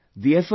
Friends,